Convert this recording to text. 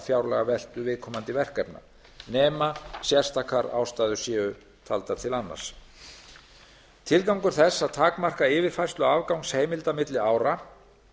fjárlagaveltu viðkomandi verkefna nema sérstakar ástæður séu taldar til annars tilgangur þess að takmarka yfirfærslu afgangsheimilda milli ára